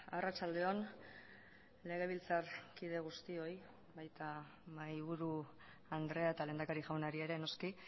arratsaldeon legebiltzarkide guztioi baita mahaiburu andrea eta lehendakari jaunari ere noski